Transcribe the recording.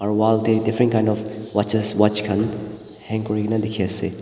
aru wall tey different kind of watches watch khan hang kurina dikhi ase.